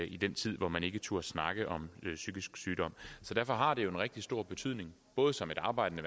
i den tid hvor man ikke turde snakke om psykisk sygdom derfor har det en rigtig stor betydning både som et arbejdende